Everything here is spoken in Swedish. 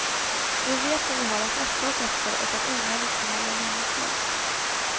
Vi vet vad vi har att rätta oss efter och att onödigt gnäll är meningslöst.